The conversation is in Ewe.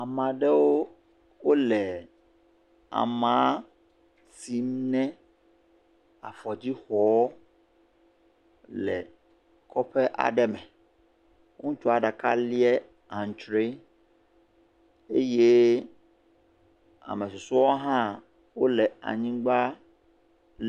Ame aɖewo le ama si me afɔdzi xɔ le kɔƒe aɖe me, ŋutsua ɖeka lia antsre eye ame susɔewo hã wole anyigba.